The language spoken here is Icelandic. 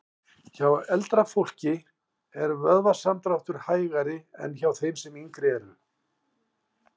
Hjá eldra fólki er vöðvasamdráttur hægari en hjá þeim sem yngri eru.